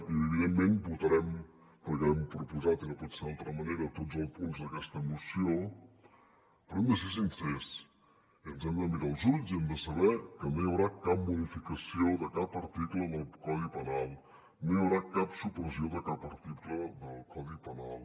i evidentment votarem perquè ho hem proposat i no pot ser d’altra manera tots els punts d’aquesta moció però hem de ser sincers i ens hem de mirar als ulls i hem de saber que no hi haurà cap modificació de cap article del codi penal no hi haurà cap supressió de cap article del codi penal